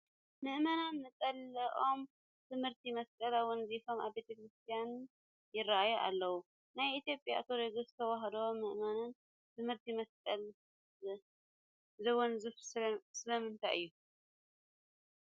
ምእመናን ነፀልኦም ብትእምርተ መስቀል ኣወንዚፎም ኣብ ቤተ ክርስቲያን ይርአዩ ኣለዉ፡፡ ናይ ኢትዮጵያ ኦርቶዶክስ ተዋህዶ ምእመናን ትእምርተ መስቀል ዘወንዝፉ ስለምንታይ እዩ?